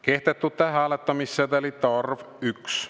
Kehtetute hääletamissedelite arv – 1.